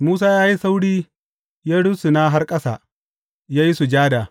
Musa ya yi sauri ya rusuna har ƙasa, ya yi sujada.